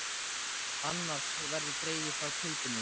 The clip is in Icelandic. Annars verður dregið frá kaupinu þínu.